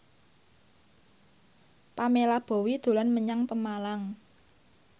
Pamela Bowie dolan menyang Pemalang